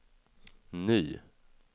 ny